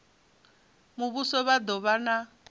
muvhuso vha do vha na